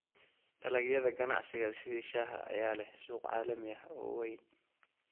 Dalagyada ganacsiga sida shaaha ayaa leh suuq caalami ah oo weyn.